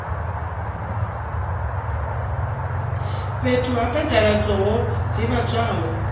fhethu ha phaḓaladzo ho ḓivhadzwaho